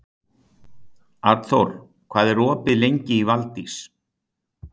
Arnþór, hvað er opið lengi í Valdís?